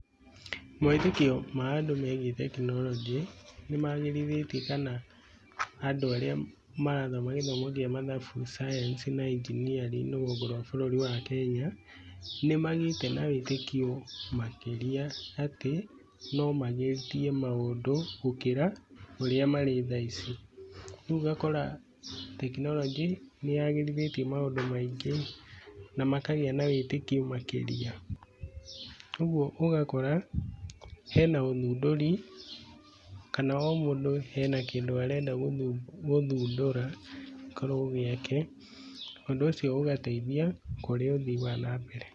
Mawĩtĩkio ma andũ megiĩ tekinoronjĩ nĩ magĩrithĩtie kana andũ arĩa marathoma gĩthomo kĩa mathabu, science na engineering rũgongo-inĩ rwa bũrũri wa Kenya, nĩ magĩĩte na wĩtĩkio makĩria atĩ no magĩrĩthie maũndũ gũkĩra ũrĩa mari tha ici. Rĩu ũgakora tekinoronjĩ nĩ yagĩrithĩtie maũndũ maingĩ na makagĩa na wĩtĩkio makĩria ũguo ũgakora hena ũthundũri kana o mũndũ hena kĩndũ arenda gũthundũra gĩkorwo gĩake, ũndũ ũcio ũgateithia kũrĩ ũthii wa na mbere.